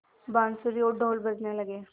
बाँसुरी और ढ़ोल बजने लगे